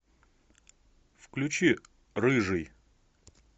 включи рыжий